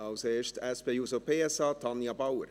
Zuerst für die SP-JUSO-PSA, Tanja Bauer.